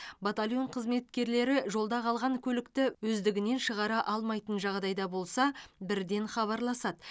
батальон қызметкерлері жолда қалған көлікті өздігінен шығара алмайтын жағдайда болса бірден хабарласады